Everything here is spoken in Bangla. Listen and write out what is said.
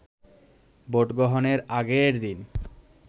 ভোটগ্রহণের আগের দিন